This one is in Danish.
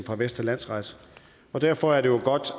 fra vestre landsret og derfor er det jo godt